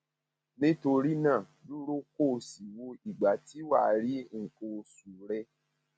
nítorí náà dúró kó o sì wo ìgbà tí wà á rí nǹkan oṣù nǹkan oṣù rẹ